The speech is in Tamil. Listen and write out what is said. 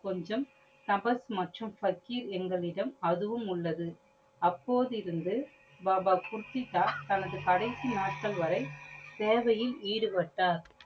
கொஞ்சம் கபஸ் மற்றும் பகிர் எங்களிடம் அதுவும் உள்ளது. அப்போதிருந்து பாபா குர்த்திதா தனது கடைசி நாட்கள் வரை சேவையில் இடுபட்டார்.